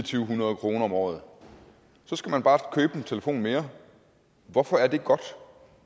hundrede kroner om året så skal man bare købe en telefon mere hvorfor er det godt